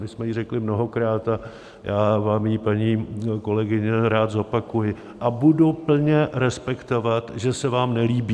My jsme ji řekli mnohokrát a já vám ji, paní kolegyně, rád zopakuji a budu plně respektovat, že se vám nelíbí.